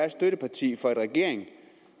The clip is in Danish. et støtteparti for en regering